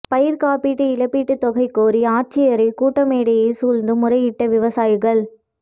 பயிா்க் காப்பீடு இழப்பீட்டுத் தொகை கோரி ஆட்சியரகக் கூட்டமேடையை சூழ்ந்து முறையிட்ட விவசாயிகள்